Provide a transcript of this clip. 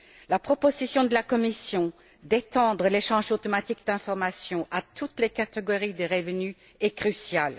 La proposition de la Commission d'étendre l'échange automatique d'informations à toutes les catégories de revenus est cruciale.